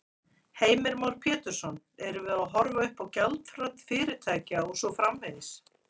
Heimir Már Pétursson: Erum við að horfa uppá gjaldþrot fyrirtækja og svo framvegis?